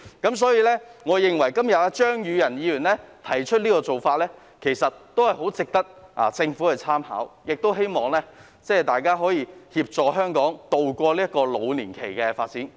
因此，我認為張宇人議員今天提出的議案相當值得政府參考，亦希望大家可以協助香港渡過老年期的發展。